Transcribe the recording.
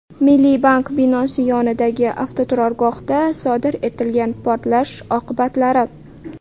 Milliy bank binosi yonidagi avtoturargohda sodir etilgan portlash oqibatlari.